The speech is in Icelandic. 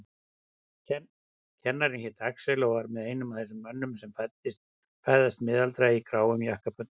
Kennarinn hét Axel og var einn af þessum mönnum sem fæðast miðaldra í gráum jakkafötum.